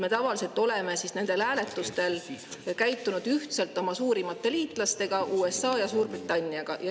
Me tavaliselt oleme nendel hääletustel käitunud ühtmoodi oma suurimate liitlastega, USA ja Suurbritanniaga.